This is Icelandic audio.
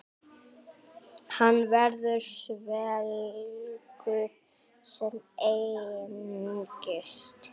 Hann verður svelgur sem engist.